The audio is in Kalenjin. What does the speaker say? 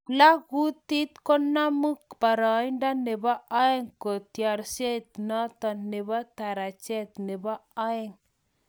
Plalkutit konamu paraindo nebo oeng katyarishet notok nebo tarejet nebo oeng